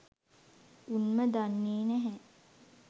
උන්ම දන්නෙ නැහැ